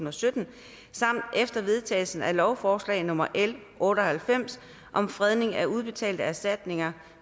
og sytten samt efter vedtagelsen af lovforslag nummer l otte og halvfems om fredning af udbetalte erstatninger